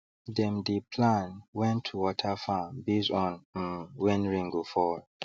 them dey plan when to water farm base on um when rain go fall